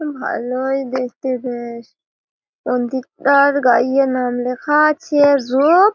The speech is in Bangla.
উহ ভালোই দেখতে বেশ মন্দিরটার গাইয়ে নাম লেখা আছে রূপ --